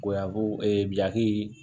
Goyako biyaki